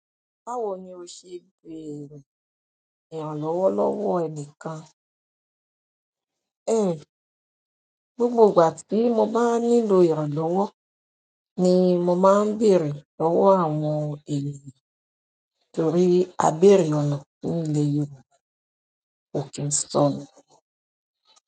Báwo ni o ṣe ń bèrè ìrànlọ́wọ́ lọ́wọ́ ẹní kan? Ẹ̀. Ǹ, gbogbo ìgbà tí mo bá nílò ìrànlọ́wọ́ ni mo máa ń bèrè lọ́wọ́ àwọn ènìyàn torí a béèrè ọ̀nà òun lèyàn tí kò kí sọnù.